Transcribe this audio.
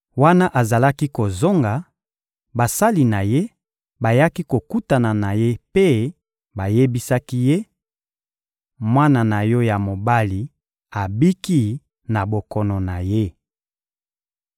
Wana azalaki kozonga, basali na ye bayaki kokutana na ye mpe bayebisaki ye: — Mwana na yo ya mobali abiki na bokono na ye.